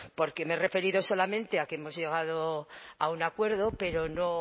porque me he referido solamente a que hemos llegado a un acuerdo pero no